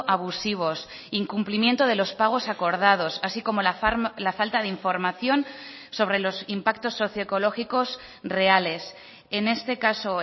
abusivos incumplimiento de los pagos acordados así como la falta de información sobre los impactos socio ecológicos reales en este caso